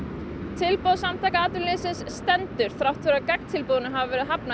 tilboð Samtaka atvinnulífsins til stendur enn þrátt fyrir að gagntilboði hafi verið hafnað